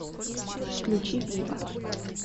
включи вива